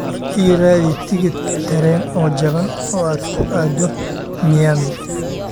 ii raadi tigidh tareen oo jaban oo aad ku aado Miami